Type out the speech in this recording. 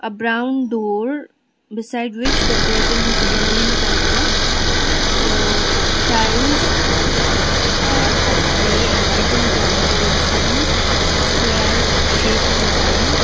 ah brown door beside which the curtain is yellow in colour the tiles are of grey and white in colour with some square shaped design.